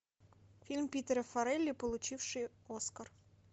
фильм питера форелли получивший оскар